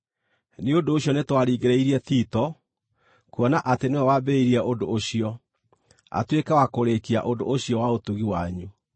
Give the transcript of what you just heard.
Nĩ ũndũ ũcio nĩtwaringĩrĩirie Tito, kuona atĩ nĩwe wambĩrĩirie ũndũ ũcio, atuĩke wa kũrĩĩkia ũndũ ũcio wa ũtugi wanyu.